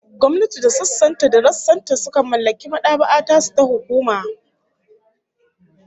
Gwamnati da sassan ta da rassan ta sukan mallaki mad'aba'a tasu ta hukuma